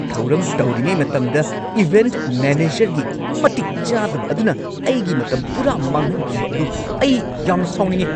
ꯊꯧꯔꯝ ꯇꯧꯔꯤꯉꯩ ꯃꯇꯝꯗ ꯏꯚꯦꯟꯠ ꯃꯦꯅꯦꯖꯔꯒꯤ ꯃꯇꯤꯛ ꯆꯥꯗꯕ ꯑꯗꯨꯅ ꯑꯩꯒꯤ ꯃꯇꯝ ꯄꯨꯔꯥ ꯃꯥꯡꯍꯟꯈꯤꯕ ꯑꯗꯨ ꯑꯩ ꯌꯥꯝꯅ ꯁꯥꯎꯅꯤꯡꯏ ꯫